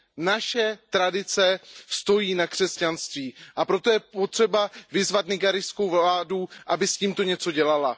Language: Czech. Naše tradice stojí na křesťanství, a proto je potřeba vyzvat nigérijskou vládu, aby s tímto něco dělala.